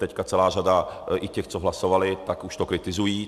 Teď celá řada i těch, co hlasovali, tak už to kritizují.